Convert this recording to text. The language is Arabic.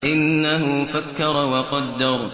إِنَّهُ فَكَّرَ وَقَدَّرَ